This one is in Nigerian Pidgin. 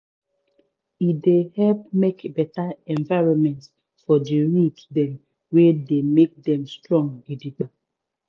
e dey help make better environmentfor di root dem wey dey make dem strong gidigba